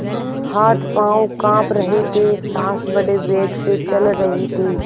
हाथपॉँव कॉँप रहे थे सॉँस बड़े वेग से चल रही थी